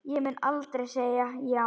Ég mun aldrei segja já.